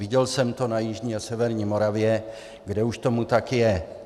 Viděl jsem to na jižní a severní Moravě, kde už tomu tak je.